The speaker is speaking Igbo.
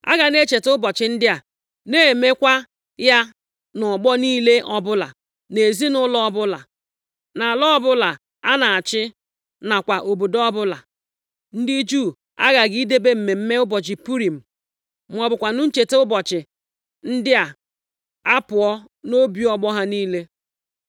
Aga na-echeta ụbọchị ndị a, na-eme kwa ya nʼọgbọ niile ọbụla, nʼezinaụlọ ọbụla, nʼala ọbụla a na-achị nakwa obodo ọbụla. Ndị Juu aghaghị idebe mmemme ụbọchị Purim, ma ọ bụkwanụ ncheta ụbọchị ndị a apụọ nʼobi ọgbọ ha niile.